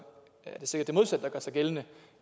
sikkert er det modsatte der gør sig gældende